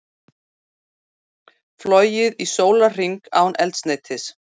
Flogið í sólarhring án eldsneytis